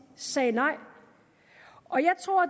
sagde nej